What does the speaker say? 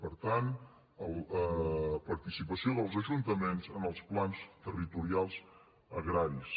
per tant participació dels ajuntaments en els plans territorials agraris